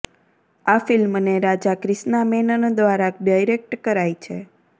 આ ફિલ્મને રાજા ક્રિષ્ના મેનન દ્વારા ડિરેક્ટ કરાઈ છે